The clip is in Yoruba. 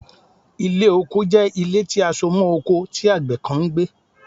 Ile oko jẹ ile ti a so mọ oko ti agbẹ kan n gbe